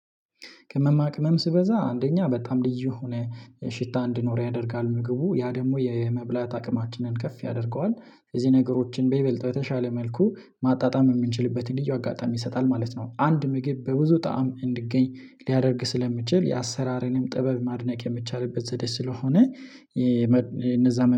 ቅመማ ቅመም ሲበዛ አንደኛ በጣም ልዩ የሆነ ሽታ እንድኖር ያደርጋል ምግቡ ያ ደግሞ የመብላት አቅማችንን ከፍ ያደርገዋል እዚህ ነገሮችን በይበልጥ በተሻለ መልኩ ማጣጣም የምንችልበትን ልዩ አጋጣሚ ይሰጣል ማለት ነው። አንድ ምግብ በብዙ ጣዕም እንዲገኝ ሊያደርግ ስለሚችል የአሰራርንም ጥበብ ማድነቅ የሚቻልበት ዘዴ ስለሆነ እነዛ